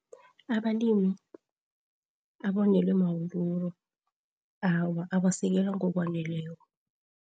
Abalimi abonelwe mawuruwuru, awa abasekelwa ngokufaneleko.